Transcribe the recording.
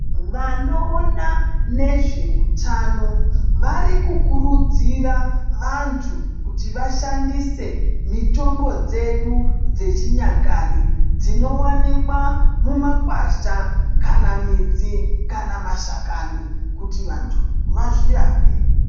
Vanoona nezveutano, vari kukurudzira vantu kuti vashandise mitombo dzedu dzechinyakare, dzinowanikwa mumakwasha kana midzi kana mashakani kuti vantu vazvirape.